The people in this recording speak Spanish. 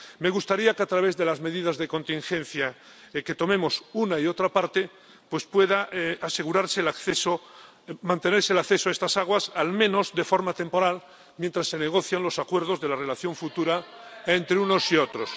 Me gustaría que, a través de las medidas de contingencia que tomemos una y otra parte, pueda asegurarse el acceso, mantenerse el acceso a estas aguas, al menos de forma temporal, mientras se negocian los acuerdos de la relación futura entre unos y otros.